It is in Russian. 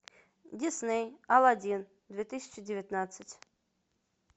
дисней аладдин две тысячи девятнадцать